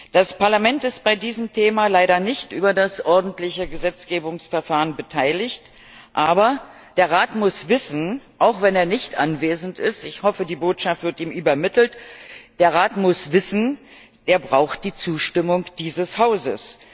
Das Parlament ist bei diesem Thema leider nicht über das ordentliche Gesetzgebungsverfahren beteiligt, aber der Rat muss wissen auch wenn er nicht anwesend ist, ich hoffe, die Botschaft wird ihm übermittelt Er braucht die Zustimmung dieses Hauses.